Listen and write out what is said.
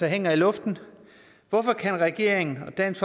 hænger i luften hvorfor kan regeringen og dansk